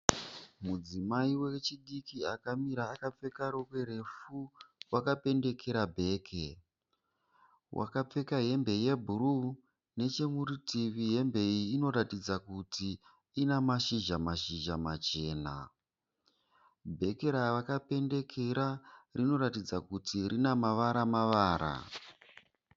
Mudzimai wechidiki akamira akapfeka rokwe refu wakapendekera bhegi. Wakapfeka hembe yebhuruu. Nechemurutivi hembe iyi inoratidza kuti ine mashizha mashizha machena. Bheke raakapendekera rinoratidza kuti rine ruvara mavara.